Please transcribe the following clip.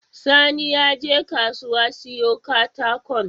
Sani yaje kasuwa siyo katakon?